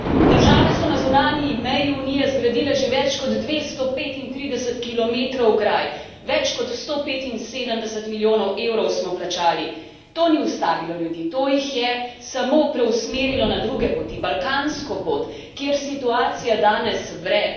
Države so na zunanji meji Unije zgradile že več kot 235 km ograj, več kot 175 milijonov evrov smo plačali. To ni ustavilo ljudi, to jih je samo preusmerilo na druge poti, balkansko pot, kjer situacija danes vre!